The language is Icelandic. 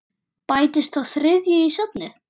Bætist sá þriðji í safnið?